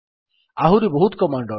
ଆହୁରି ବହୁତ କମାଣ୍ଡ୍ ଅଛି